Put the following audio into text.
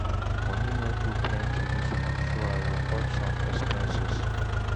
Money no too plenty this month, so I go cut some expenses.